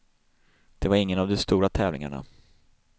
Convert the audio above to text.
Det var ingen av de stora tävlingarna.